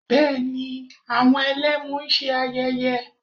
Bẹ́ẹ̀ ni, àwọn Ẹlẹ́mu ń ṣe ayẹyé